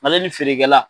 Mali ni feerekɛla